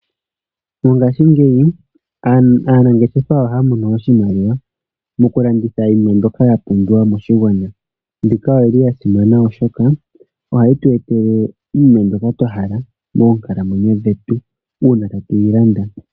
Mongaashingeyi aaanangeshefa oha ya mono oshimaliwa moku landitha iinima mbyoka ya pumbiwa moshigwana. Mbika oyi li ya simana, oshoka oha yi tu etele iiyemo mbyoka twa hala moonkalamwenyo dhetu, uuna tatu yi landa.